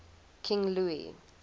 king louis